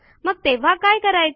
मग तेव्हा काय करायचे